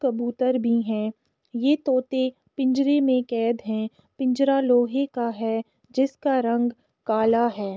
कबूतर भी है ये तोते पिंजरे में कैद है। पिंजरा लोहे का है जिसका रंग काला है।